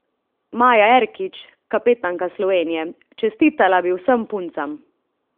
Maja Erkić, kapetanka Slovenije: "Čestitala bi vsem puncam.